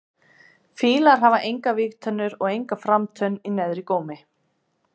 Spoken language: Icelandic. Fílar hafa engar vígtennur og enga framtönn í neðri gómi.